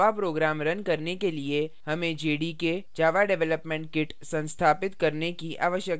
java program run करने के लिए हमें jdk java development kit संस्थापित करने की आवश्यकता है